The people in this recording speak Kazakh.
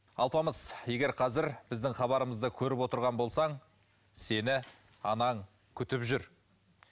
алпамыс егер қазір біздің хабарымызды көріп отырған болсаң сені анаң күтіп жүр